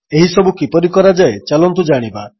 ଏହିସବୁ କିପରି କରାଯାଏ ଚାଲନ୍ତୁ ଜାଣିବା